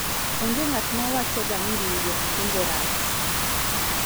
onge ng'at ma wacho ga ni riwruog kungo rach